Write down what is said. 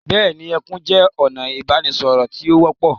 Bẹ́ẹ̀ni, ẹkún jẹ́ ọ̀nà ìbánisọ̀rọ̀ tí ó wọ́pọ̀.